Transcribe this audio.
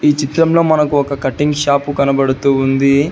చిత్రంలో మనకు ఒక కటింగ్ షాపు కనబడుతూ ఉంది.